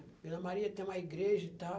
Vila Maria tem uma igreja e tal.